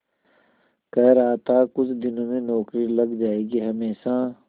कह रहा था कुछ दिनों में नौकरी लग जाएगी हमेशा